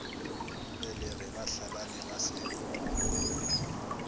mmelegi ba hlalane ba se